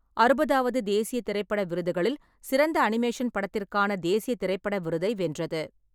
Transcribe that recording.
அறுபதாவது தேசிய திரைப்பட விருதுகளில், சிறந்த அனிமேஷன் படத்திற்கான தேசிய திரைப்பட விருதை வென்றது.